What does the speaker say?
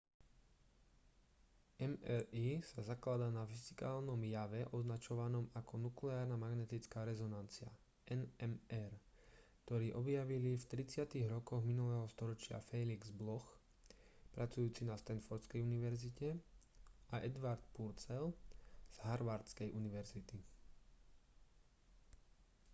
mri sa zakladá na fyzikálnom jave označovanom ako nukleárna magnetická rezonancia nmr ktorý objavili v 30-tych rokoch minulého storočia felix bloch pracujúci na standfordskej univerzite a edward purcell z harvardskej univerzity